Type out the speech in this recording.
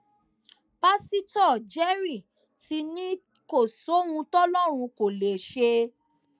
pásítọ jerry ti ní kò sóhun tọlọrun kò lè ṣe